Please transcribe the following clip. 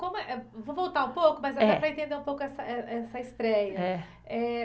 Como é, eh vou voltar um pouco, mas para entender um pouco essa eh, essa estreia, eh